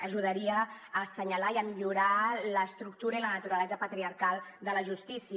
ajudaria a assenyalar i a millorar l’estructura i la naturalesa patriarcal de la justícia